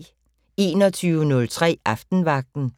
21:03: Aftenvagten